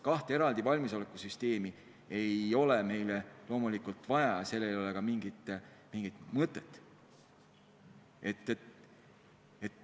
Kahte eraldi valmisolekusüsteemi ei ole meil loomulikult vaja, sellel ei ole mingit mõtet.